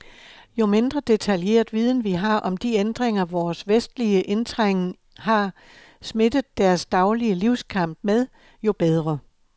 Jo mindre detaljeret viden vi har om de ændringer, vores vestlige indtrængen har smittet deres daglige livskamp med, jo bedre.